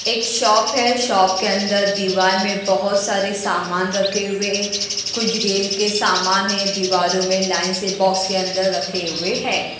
एक शॉप है शॉप के अंदर दीवार में बहुत सारे सामान रखे हुए कुछ गेम के सामान है दीवारों में लाइन से बॉक्स के अंदर रखे हुए हैं।